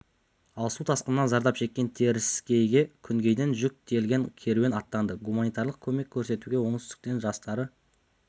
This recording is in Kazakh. ал су тасқынынан зардап шеккен теріскейге күнгейден жүк тиелген керуен аттанды гуманитарлық көмек көрсетуге оңтүстіктің жастары